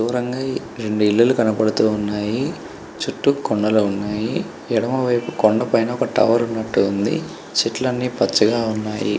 దూరంగా ఇ రెండు ఇల్లులు కనబడుతున్నాయి చుట్టూ కొండలు ఉన్నాయి ఎడమవైపు కొండపైన ఒక టవర్ ఉన్నట్టు ఉంది చెట్లని పచ్చగా ఉన్నాయి.